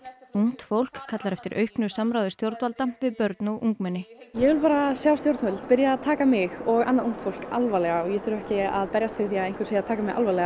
ungt fólk tók kallar eftir auknu samráði stjórnvalda við börn og ungmenni ég vil bara sjá stjórnvöld byrja að taka mig og annað ungt fólk alvarlega og ég þarf ekki að berjast fyrir því að einhver sé að taka mig alvarlega